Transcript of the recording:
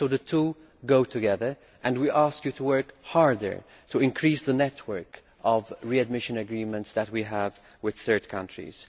The two go together, so we ask you to work harder to increase the network of readmission agreements that we have with third countries.